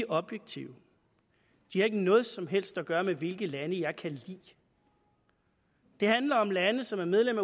objektive de har ikke noget som helst at gøre med hvilke lande jeg kan lide det handler om lande som er medlem